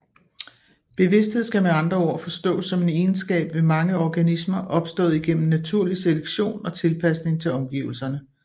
Bevidsthed skal med andre ord forstås som en egenskab ved mange organismer opstået igennem naturlig selektion og tilpasning til omgivelserne